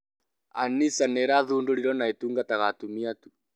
An-Nisa nirathundorirwo na ĩtũngataga atumia tu